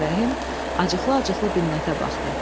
Ağarəhim acıqlı-acıqlı Binnətə baxdı.